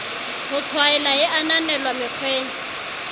ho tshwaela e ananelwa mekgweng